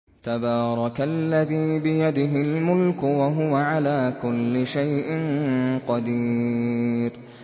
تَبَارَكَ الَّذِي بِيَدِهِ الْمُلْكُ وَهُوَ عَلَىٰ كُلِّ شَيْءٍ قَدِيرٌ